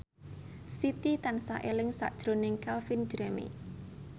Siti tansah eling sakjroning Calvin Jeremy